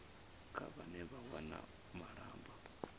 kha vhane vha wana malamba